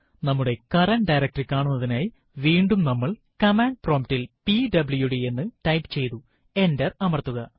നമ്മുടെ current directory കാണുന്നതിനായി വീണ്ടും നമ്മൾ കമാൻഡ് പ്രോംപ്റ്റ് ൽ പിഡബ്ല്യുഡി എന്ന് ടൈപ്പ് ചെയ്തു എന്റര് അമർത്തുക